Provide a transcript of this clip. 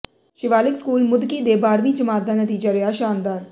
Shivalik school Mudki ਦੇ ਬਾਰ੍ਹਵੀਂ ਜਮਾਤ ਦਾ ਨਤੀਜਾ ਰਿਹਾ ਸ਼ਾਨਦਾਰ